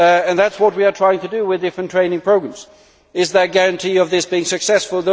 That is what we are trying to do with different training programmes. Is there a guarantee of this being successful?